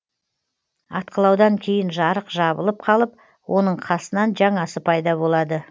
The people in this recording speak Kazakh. атқылаудан кейін жарық жабылып қалып оның қасынан жаңасы пайда болады